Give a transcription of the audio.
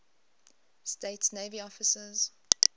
states navy officers